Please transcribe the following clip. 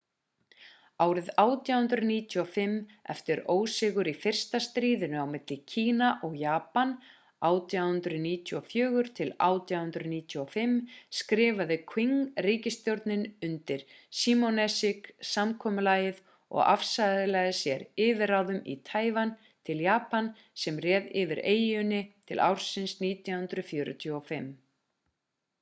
árið 1895 eftir ósigur í fyrsta stríðinu á milli kína og japan 1894-1895 skrifaði quing-ríkisstjórnin undir shimonoseki-samkomulagið og afsalaði sér yfirráðum taívan til japan sem réð yfir eyjunni til ársins 1945